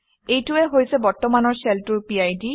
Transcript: এইটোৱেই হৈছে বৰ্তমানৰ শ্বেলটোৰ PID